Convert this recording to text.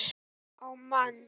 á mann.